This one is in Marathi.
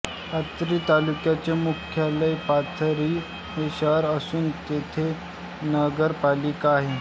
पाथरी तालुक्याचे मुख्यालय पाथरी हे शहर असून तेथे नगरपालिका आहे